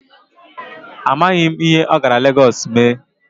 Amaghị m ihe ọ gara Legọọsụ ime.